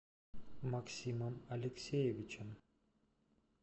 максимом алексеевичем